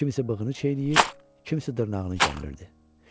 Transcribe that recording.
Kimisi bığını çeynir, kimisi dırnağını gəmirirdi.